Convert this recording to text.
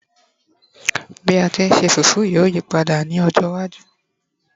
bi a ti n se fufu yíò yipada ní ọjọ iwaju